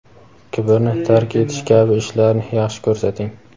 kibrni tark etish kabi ishlarni yaxshi ko‘rsating!.